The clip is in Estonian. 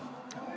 Oot-oot-oot ...